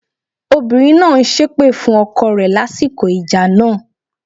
Obìnrin náà ń ṣépè fún ọkọ rẹ lásìkò ìjà náà.